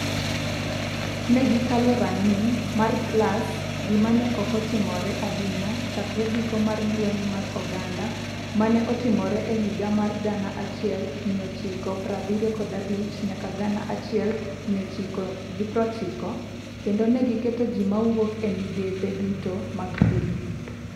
Ne gikalo rang’iny mar klas - gima ne ok otimore ahinya chakre giko mar lweny mar oganda ma ne otimore e higa mar 1975-1990 - kendo ne giketo ji ma wuok e migepe duto mag piny.